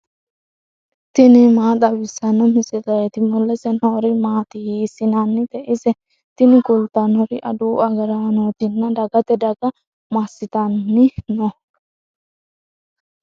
tini maa xawissanno misileeti ? mulese noori maati ? hiissinannite ise ? tini kultannori adawu agaraanootinna dagate daga massitanni no?